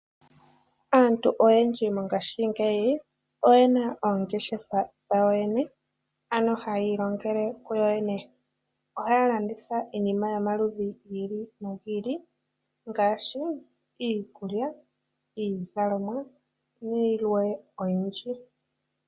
Aantu oyendji mongaashingeyi oyena oongeshefa dhawo yoyene ano hayiilongele kuyoyene. Ohaalanditha iinima yomaludhi giili nogiili ngaashi: iikulya, iizalomwa nayilwee oyindji.